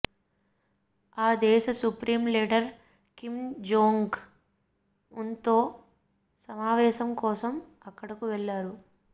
ఆ దేశ supreme leader Kim Jong ఉన్తో సమావేశం కోసం అక్కడకు వెళ్లారు